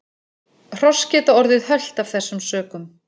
Hross geta orðið hölt af þessum sökum.